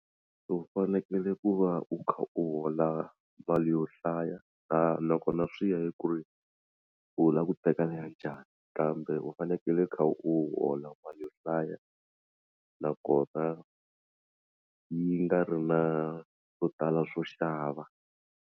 U fanekele ku va u kha u hola mali yo hlaya na nakona swi ya hi ku ri u lava ku teka leya njhani kambe u fanekele u kha u hola mali yo hlaya nakona yi nga ri na swo tala swo xava.